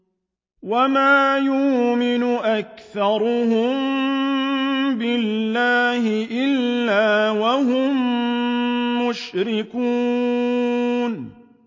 وَمَا يُؤْمِنُ أَكْثَرُهُم بِاللَّهِ إِلَّا وَهُم مُّشْرِكُونَ